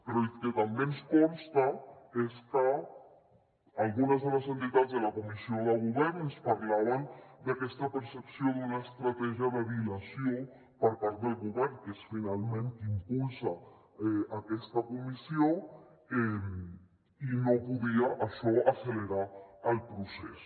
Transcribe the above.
però el que també ens consta és que algunes de les entitats de la comissió de govern ens parlaven d’aquesta percepció d’una estratègia de dilació per part del govern que és finalment qui impulsa aquesta comissió i no podia això accelerar el procés